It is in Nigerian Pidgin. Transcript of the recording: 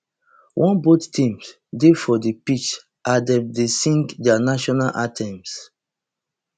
oneboth teams dey for di pitch as dem dey sing dia national anthems